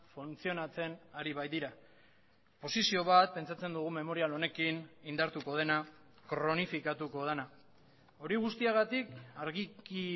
funtzionatzen ari baitira posizio bat pentsatzen dugu memorial honekin indartuko dena kronifikatuko dena hori guztiagatik argiki